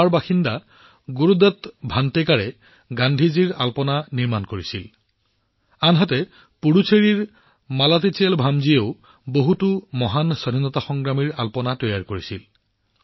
গোৱাৰ বাসিন্দা গুৰুদত্ত ভাণ্টেকাৰে গান্ধীজীৰ ওপৰত ৰংগোলী নিৰ্মাণ কৰিছিল আনহাতে পুডুচেৰীৰ মালাথিচেলভামজীয়েও বহুতো মহান স্বাধীনতা সংগ্ৰামীৰ ৰংগোলী নিৰ্মাণ কৰিছিল